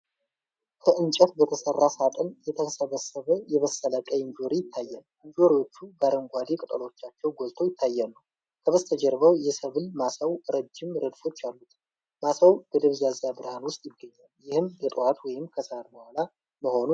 ከ እንጨት በተሠራ ሳጥን የተሰበሰበ የበሰለ ቀይ እንጆሪ ይታያል። እንጆሪዎቹ በአረንጓዴ ቅጠሎቻቸው ጎልተው ይታያሉ። ከበስተጀርባው የሰብል ማሳው ረጅም ረድፎች አሉት። ማሳው በደብዛዛ ብርሃን ውስጥ ይገኛል፣ ይህም በጠዋት ወይም ከሰዓት በኋላ መሆኑን ይጠቁማል።